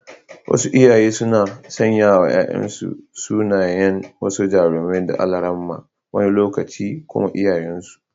Wasu iyaye suna sanyawa ‘ya’yansu sunayen wasu jarumai da almara, wani lokaci kuma iyayensu.